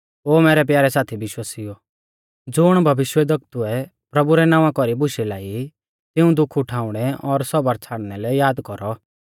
ओ मैरै प्यारै साथी विश्वासिउओ ज़ुण भविष्यवक्तुऐ प्रभु रै नावां कौरी बुशै लाई तिऊं दुख उठाउणै और सौबर छ़ाड़ना लै याद कौरौ